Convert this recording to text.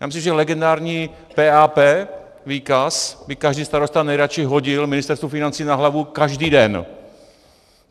Já myslím, že legendární PAP výkaz by každý starosta nejradši hodil Ministerstvu financí na hlavu každý den.